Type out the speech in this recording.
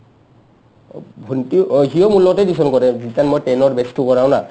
ভন্টি অ সিও মোৰ লগতে টিউচন কৰে কাৰণ মই ten অৰ batchটো কৰাও না